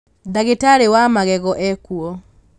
ndagĩtarĩ wa magego ekuo